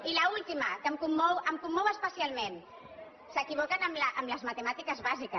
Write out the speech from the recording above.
i l’última que em commou especialment s’equivoquen amb les matemàtiques bàsiques